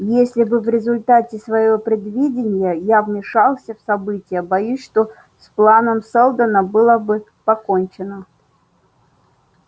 если бы в результате своего предвидения я вмешался в события боюсь что с планом сэлдона было бы покончено